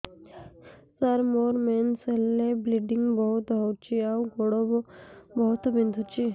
ସାର ମୋର ମେନ୍ସେସ ହେଲେ ବ୍ଲିଡ଼ିଙ୍ଗ ବହୁତ ହଉଚି ଆଉ ଗୋଡ ବହୁତ ବିନ୍ଧୁଚି